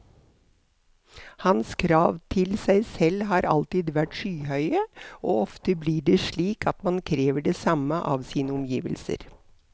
Hans krav til seg selv har alltid vært skyhøye, og ofte blir det slik at man krever det samme av sine omgivelser.